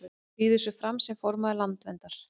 Býður sig fram sem formaður Landverndar